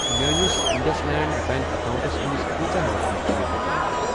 میٲنِس Indus land bank accounts منٛز کۭژاہ رۄپیہِ چھِ بچیمٕژ؟